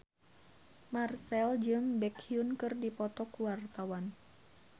Marchell jeung Baekhyun keur dipoto ku wartawan